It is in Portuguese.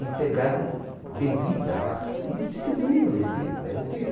E pegaram bebida lá e distribuíram a bebida, devem ter.